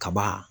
Kaba